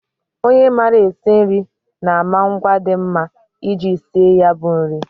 Onye maara esi nri na-ama ngwa dị mma iji sie ya bụ nri